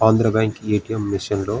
Andhra bank A. T. M. Machine లో --